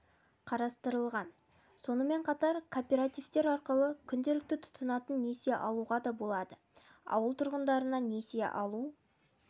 қарастырылған сонымен қатар кооператив арқылы күнделікті тұтынатын несие алуға да болады ауыл тұрғындарына несие алу